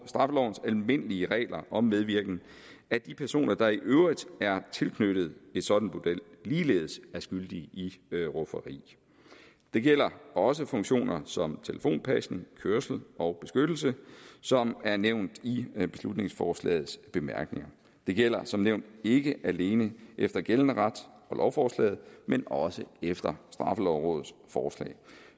straffelovens almindelige regler om medvirken at de personer der i øvrigt er tilknyttet et sådant bordel ligeledes er skyldige i rufferi det gælder også funktioner som telefonpasning kørsel og beskyttelse som er nævnt i beslutningsforslagets bemærkninger det gælder som nævnt ikke alene efter gældende ret for lovforslaget men også efter straffelovrådets forslag